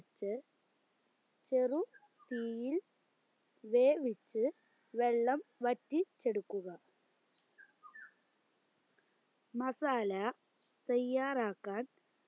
ച് ചെറു തീയിൽ വേവിച് വെള്ളം വറ്റി ച്ചെടുക്കുക മസാല തെയ്യാറാക്കാൻ